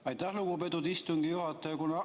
Aitäh, lugupeetud istungi juhataja!